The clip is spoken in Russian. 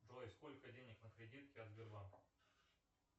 джой сколько денег на кредитке от сбербанка